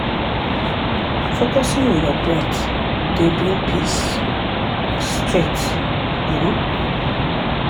focusing on your breath dey bring peace straight. um